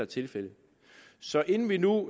tilfældet så inden vi nu